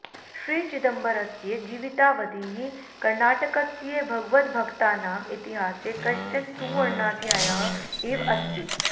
श्रीचिदम्बरस्य जीवितावधिः कर्णाटकस्य भगवद्भक्तानां इतिहासे कश्चन सुवर्णाध्यायः इव अस्ति